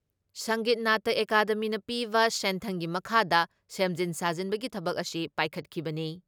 ꯁꯪꯒꯤꯠ ꯅꯥꯇꯛ ꯑꯦꯀꯥꯗꯦꯃꯤꯅ ꯄꯤꯕ ꯁꯦꯟꯊꯪꯒꯤ ꯃꯈꯥꯗ ꯁꯦꯝꯖꯤꯟ ꯁꯥꯖꯤꯟꯕꯒꯤ ꯊꯕꯛ ꯑꯁꯤ ꯄꯥꯏꯈꯠꯈꯤꯕꯅꯤ ꯫